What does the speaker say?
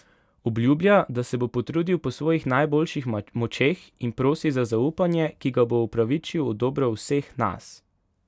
Obljublja, da se bo potrudil po svojih najboljših močeh in prosi za zaupanje, ki ga bo upravičil v dobro vseh nas.